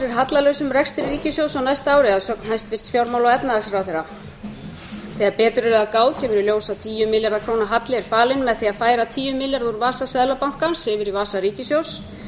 hallalausum rekstri ríkissjóðs á næsta ári að sögn hæstvirts fjármála og efnahagsráðherra þegar betur er að gáð kemur í ljós að tíu milljarða króna halli er falinn með því að færa tíu milljarða úr vasa seðlabankans yfir í vasa ríkissjóðs